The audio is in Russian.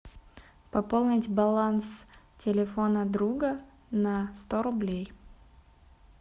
пополнить баланс телефона друга на сто рублей